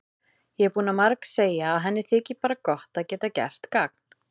Hún er búin að margsegja að henni þyki bara gott að geta gert gagn.